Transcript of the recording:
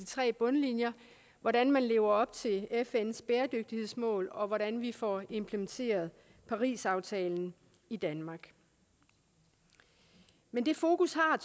tre bundlinjer hvordan man lever op til fns bæredygtighedsmål og hvordan vi får implementeret parisaftalen i danmark men det fokus har